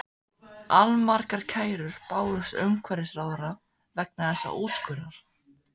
Allmargar kærur bárust umhverfisráðherra vegna þessa úrskurðar.